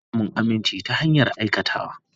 Ana samun aminci ta hanyar aikatawa.